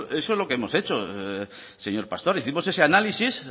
eso es lo que hemos hecho señor pastor hicimos ese análisis